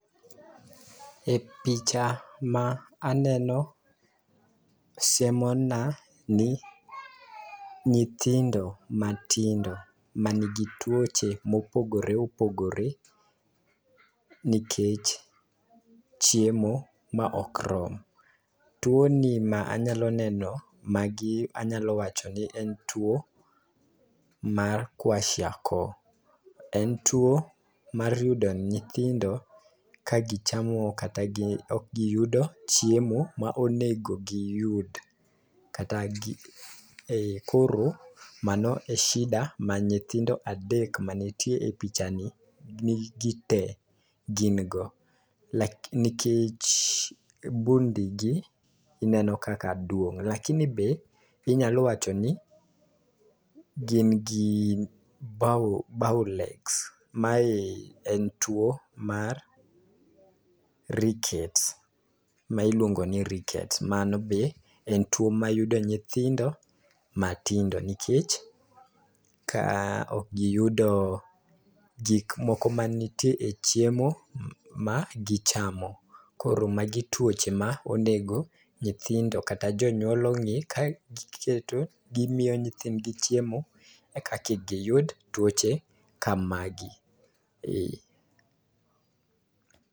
E picha ma aneno, siemona ni nyithindo matindo manigi tuoche mopogore opogore nikech chiemo ma ok rom. Tuwoni ma anyalo neno, magi anyalo wacho ni en tuwo mar kwashiako, en tuwo mayudo nyithindo kagichamo kata ok giyudo chiemo monego giyud. Koro mano e shida ma nyithindo adek manitie e pichani gi tee gin go. Nikech bund igi ineno kaka duong',lakini be inyalo wacho ni gin gi bow legs, mae en tuwo mar rickets ma iluongo ni rickets. Mano be en tuwo mayudo nyithindo matindo nikech ka ok giyudo gikmoko manitie e chiemo magichamo. Koro magi tuoche ma onego nyithindo kata jonyuol ong'e, kagiketo, gimiyo nyithindgi chiemo eka kik giyud tuoche kamagi.